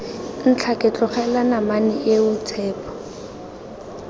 ntlhake tlogela namane eo tshepo